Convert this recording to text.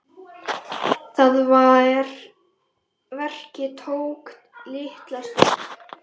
Það verk tók litla stund.